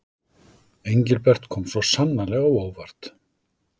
Engilbert kom svo sannarlega á óvart.